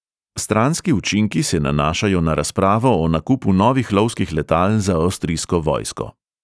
Stranski učinki se nanašajo na razpravo o nakupu novih lovskih letal za avstrijsko vojsko.